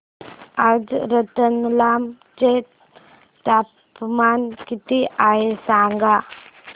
आज रतलाम चे तापमान किती आहे सांगा